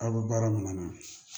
Aw bɛ baara min na